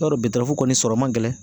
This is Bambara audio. I b'a dɔn kɔni sɔrɔ man gɛlɛn